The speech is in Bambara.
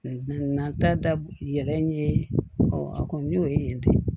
N'an ta da yɛlɛ a kɔni y'o ye dɛ